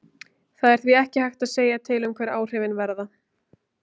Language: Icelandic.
Það er því ekki hægt að segja til um hver áhrifin verða.